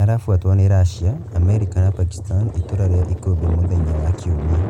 arafuatwo nĩ Russia , Amerika na pakistan itũra rĩa Ikumbĩ mũthenya wa kiumia